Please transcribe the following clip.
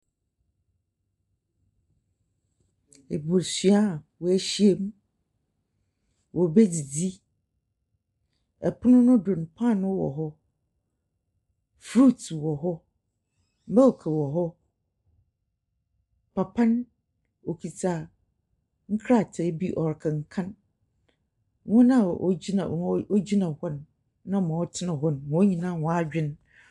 Ebusua a woehyia mu, woribedzidzi, pono no do no, paanoo wɔ hɔ, fruits wɔ hɔ, milk wɔ hɔ. papa no, okita nkrataa bi ɔrekenkan. Hɔn a wogyina h wogyina hɔ no, na ma wɔtsena hɔ no, hɔn nyina hɔn adwen .